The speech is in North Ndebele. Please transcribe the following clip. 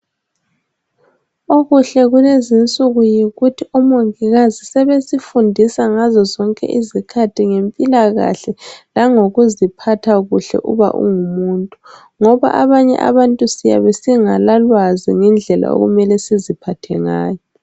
Okuhle kulezinsuku yikuthi omongikazi sebesifundisa ngazozonke izikhathi ngempilakahle langokuziphatha kuhle uba ungumuntu. Ngoba abanye abantu siyabe singalalwazi ngendlela okumele siziphathe ngayo.